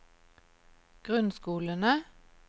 grunnskolene